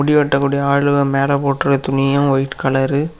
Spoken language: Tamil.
முடி வெட்டக்கூடிய ஆளு மேல போட்டுருக்க துணியூ ஒயிட் கலரு .